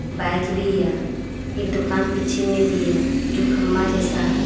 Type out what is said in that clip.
Bike भी है एक दुकान पीछे में भी है जो खम्मा जैसा है।